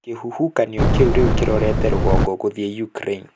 Kĩhuhũkanio kĩu rĩu kĩrorete rũgongo gũthiĩ Ukraine.